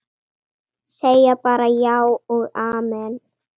Segja bara já og amen.